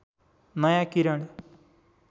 नयाँ किरण